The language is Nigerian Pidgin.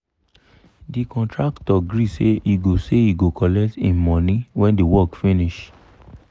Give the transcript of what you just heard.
the contractor gree say he go say he go collect him money when the work finish